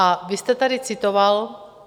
A vy jste tady citoval...